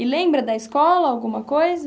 E lembra da escola alguma coisa?